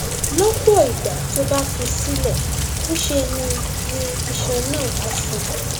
lọpọ ìgbà tó o bá fi í sílẹ ńṣe ni ni iṣan náà á sàn